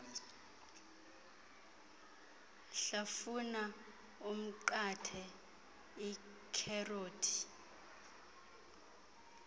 hlafuna umnqathe ikherothi